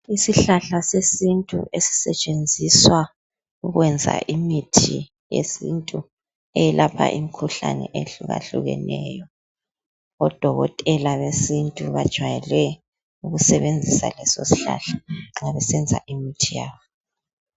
Isihlahla sesintu esisetshenziswa ukwenza imithi yesintu eyelapha imikhuhlane ehlukahlukeneyo. Odokotela besintu bajwayele ukusebenzisa leso sihlahla unxa besenza imithi yabo.